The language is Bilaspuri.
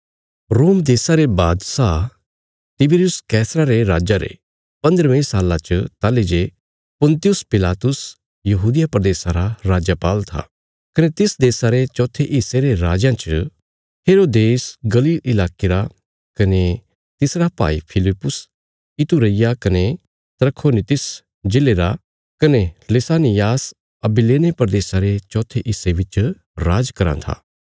रोम देशा रे बादशाह तिबिरियुस रे राज्जा रे पन्द्रहवे साल्ला च ताहली जे पुन्तियुस पिलातुस यहूदिया प्रदेशा रा राजपाल था कने तिस देशा रे चौथे हिस्से रे राजयां च हेरोदेस गलील इलाके रा कने तिसरा भाई फिलिप्पुस इतुरैया कने त्रखोनीतिस जिले रा कने लिसानियास अबिलेने प्रदेशा रे चौथे हिस्से बिच राज कराँ था